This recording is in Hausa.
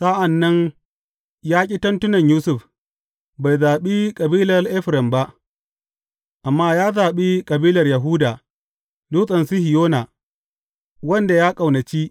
Sa’an nan ya ƙi tentunan Yusuf, bai zaɓi kabilar Efraim ba; amma ya zaɓi kabilar Yahuda, Dutsen Sihiyona, wanda ya ƙaunaci.